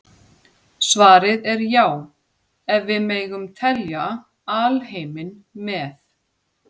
Svarið er já ef við megum telja alheiminn með.